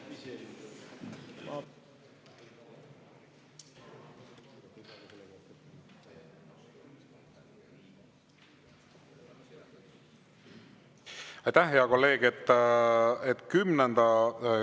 Aitäh, hea kolleeg!